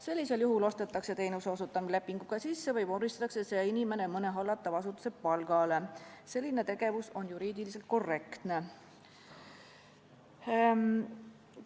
Sellisel juhul ostetakse teenuse osutamine lepinguga sisse või vormistatakse see inimene mõne hallatava asutuse palgale, selline tegevus on juriidiliselt korrektne.